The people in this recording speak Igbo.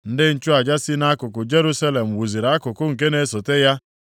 Ndị nchụaja si nʼakụkụ Jerusalem wuziri akụkụ nke na-esote ya.